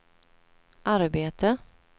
arbete